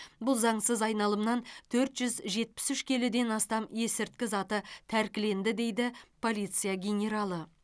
бұл заңсыз айналымнан төрт жүз жетпіс үш келіден астам есірткі заты тәркіленді дейді полиция генералы